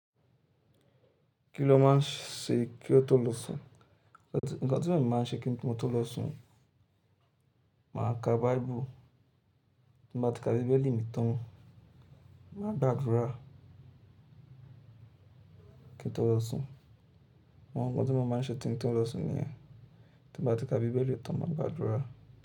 Kí ló má ń ṣe kí ó tó lọ sùn? Ǹkan tí ẹ̀mi má ń ṣe kí n tó lọ sùn, màá ka Bible. Tí n bá ti ka bíbélì mi tán, màá gbàdúrà kí n tó lọ sùn. Àwọn ǹkan tí mo má ń ṣe tí n tó lọ sùn ni yen. Tí n bá ti ka bíbélì tán, màá gbàdúrà.